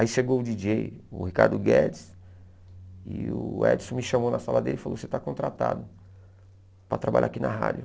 Aí chegou o djíi djêi, o Ricardo Guedes, e o Edson me chamou na sala dele e falou, você está contratado para trabalhar aqui na rádio.